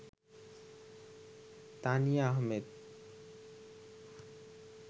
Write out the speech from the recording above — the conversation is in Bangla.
তানিয়া আহমেদ